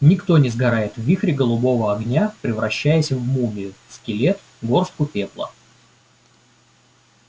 никто не сгорает в вихре голубого огня превращаясь в мумию скелет горстку пепла